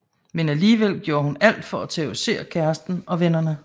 Men alligevel gjorde hun alt for at terrorisere kæresten og vennerne